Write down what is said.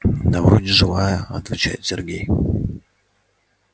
да вроде живая отвечает сергей